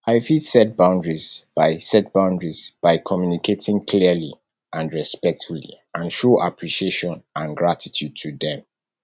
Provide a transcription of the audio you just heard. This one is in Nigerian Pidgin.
i fit set boundaries by set boundaries by communicating clearly and respectfully and show appreciation and gratitude to dem